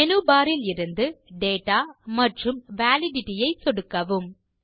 menu bar இலிருந்து data மற்றும் validity ஐ சொடுக்கவும்